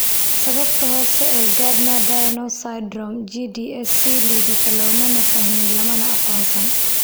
Sababta hoose ee Gardner Diamond syndrome (GDS) si liidata looma fahmin lamana aqoonsan.